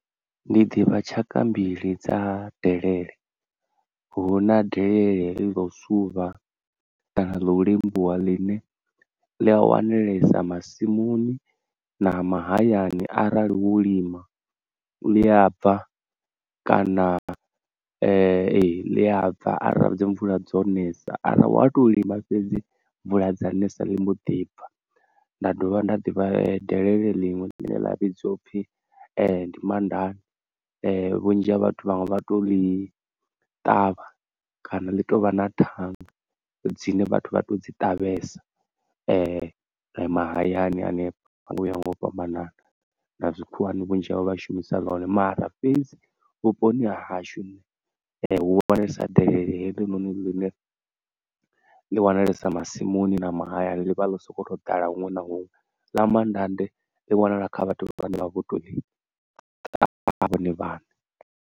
Ndi ḓivha tshaka mbili dza delele, hu na delele heḽi ḽo suvha kana ḽo lembuwa ḽine ḽi a wanalesa masimuni na mahayani arali wo lima, ḽi a bva kana ḽi abva arali dzi mvula dzo ṋesa kana wa to lima fhedzi mvula dza ṋesa ḽi mbo ḓibva. Nda dovha nda ḓivha delele ḽiṅwe ḽine ḽa vhidzwa upfhi ndi mandande vhunzhi ha vhathu vhaṅwe vha to ḽi ṱavha kana ḽi tovha na thanga dzine vhathu vha to dzi ṱavhesa mahayani hanefho uya nga u fhambanana na zwikhuwani vhunzhi havho vha shumisa ḽa hone. Mara fhedzi vhuponi ha hashu hu wanalesa delele heḽi ṋoṋi ḽiṋe ḽi wanalesa masimuni na mahayani ḽivha ḽo soko ḓala huṅwe na huṅwe, ḽa mandande ḽi wanala kha vhathu vhane vha vho to ḽi ṱavha vhone vhaṋe.